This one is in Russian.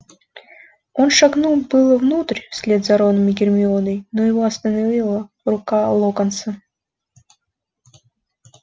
он шагнул было внутрь вслед за роном и гермионой но его остановила рука локонса